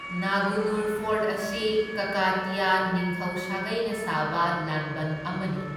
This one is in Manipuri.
ꯅꯥꯒꯨꯅꯨꯔ ꯐꯣꯔꯠ ꯑꯁꯤ ꯀꯀꯇꯤꯌꯥ ꯅꯤꯡꯊꯧ ꯁꯥꯒꯩꯅ ꯁꯥꯕ ꯂꯥꯟꯕꯟ ꯑꯃꯅꯤ꯫